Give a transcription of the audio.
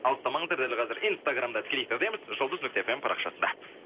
алыстамаңыздар дәл қазір инстаграмда тікелей эфирдеміз жұлдыз нүкте фм парақшасында